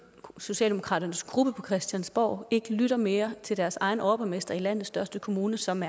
socialdemokratiets gruppe på christiansborg ikke lytter mere til deres egen overborgmester i landets største kommune som